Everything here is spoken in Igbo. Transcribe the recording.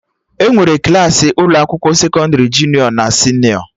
Enwere Klassị ụlọ akwụkwọ sekọndrị junịọ na senịọ